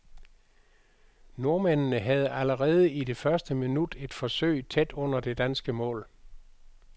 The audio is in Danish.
Nordmændene havde allerede i det første minut et forsøg tæt under det danske mål.